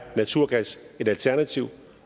naturgas et alternativ